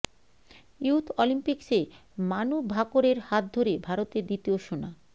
youth অলিম্পিক্সে মানু ভাকরের হাত ধরে ভারতের দ্বিতীয় সোনা